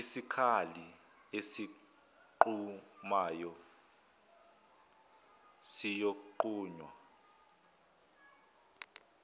isikali esinqumayo siyonqunywa